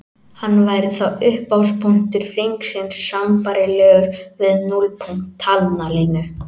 Hann væri þá upphafspunktur hringsins sambærilegur við núllpunkt talnalínu.